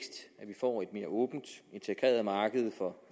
får et mere åbent integreret marked for